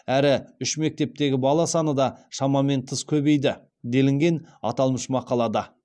әрі үш мектептегі бала саны да шамамен тыс көбейді делінген аталмыш мақалада